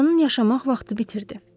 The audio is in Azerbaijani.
Atanın yaşamaq vaxtı bitirdi.